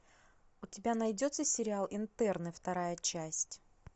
у тебя найдется сериал интерны вторая часть